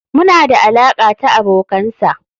muna da alaƙa ta abokansa.